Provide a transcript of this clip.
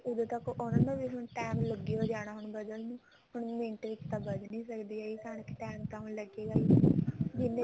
ਉਦੋਂ ਤੱਕ ਉਹਨਾ ਨੂੰ ਵੀ ਹੁਣ time ਲੱਗ ਹੀ ਜਾਣਾ ਵਧਣ ਨੂੰ ਹੁਣ ਮਿੰਟ ਵਿੱਚ ਤਾਂ ਵੱਧ ਨੀ ਸਕਦੀ ਕਣਕ ਟੇਮ ਤਾਂ ਹੁਣ ਲੱਗੇ ਗਾ ਹੀ ਜਿੰਨੇ